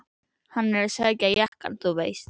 Hann er að sækja jakkann þú veist.